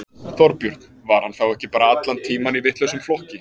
Þorbjörn: Var hann þá ekki bara allan tímann í vitlausum flokki?